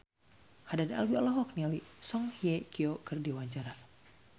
Haddad Alwi olohok ningali Song Hye Kyo keur diwawancara